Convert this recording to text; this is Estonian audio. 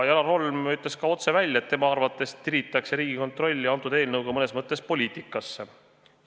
Janar Holm ütles ka otse välja, et tema arvates tiritakse Riigikontroll mõnes mõttes poliitikasse.